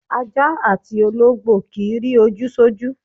Aja atí ologbo ki ń ri oju sọju.